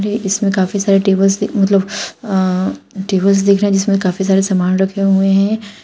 ये इसमें काफी सारे टेबल्स मतलब अह टेबल्स दिख रहे हैं जिसमें काफी सारे सामान रखे हुए हैं।